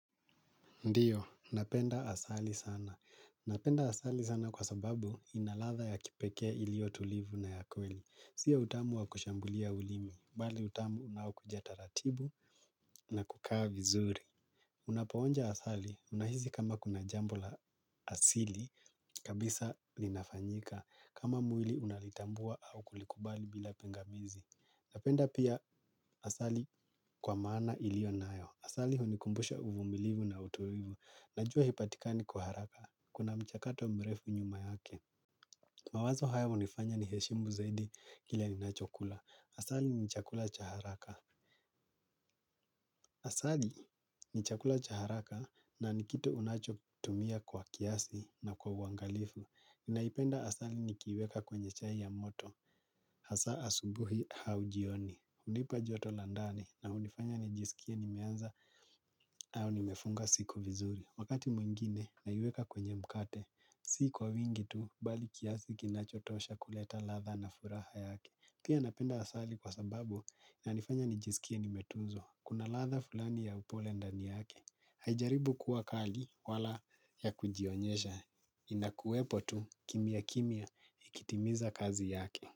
Ndiyo, napenda asali sana. Napenda asali sana kwa sababu inalatha ya kipekee ilio tulivu na ya kweli. Si ya utamu wa kushambulia ulimi, bali utamu unaokuja taratibu na kukaa vizuri. Unapoonja asali, unahisi kama kuna jambo la asili, kabisa linafanyika. Kama mwili unalitambua au kulikubali bila pingamizi. Napenda pia asali kwa maana ilionayo. Asali hunikumbusha uvumilivu na uturivu. Najua hipatikani kwa haraka, kuna mchakato mrefu nyuma yake. Mawazo haya hunifanya niheshimu zaidi kile ninachokula. Asali ni chakula cha haraka. Asali ni chakula cha haraka na ni kitu unacho tumia kwa kiasi na kwa uangalifu naipenda asali nikiiweka kwenye chai ya moto asa asubuhi hau jioni. Unipa joto la ndani na unifanya nijisikie nimeanza au nimefunga siku vizuri. Wakati mwingine naiweka kwenye mkate. Si kwa wingi tu bali kiasi kinachotosha kuleta ladha na furaha yake pia napenda asali kwa sababu inanifanya nijisikie nimetuzwa. Kuna ladha fulani ya upole ndani yake. Haijaribu kuwa kali wala ya kujionyesha. Inakuwepo tu kimia kimia ikitimiza kazi yake.